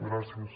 gràcies